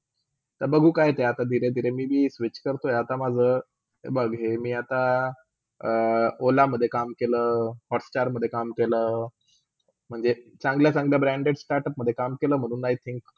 तर बघू कायते धीरे -धीरे maybe ही switch करतोय आता माझा, हे, बघ, हे, मी आता अ ola मधे काम केल hotstar मधे काम केला म्हणजे चांगल्या - चांगल्या branded startup मधे काम केला i-think